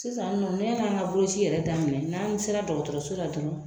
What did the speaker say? Sisan nɔ , yani an ka boloci yɛrɛ daminɛ n'an sera dɔgɔtɔrɔso la dɔrɔn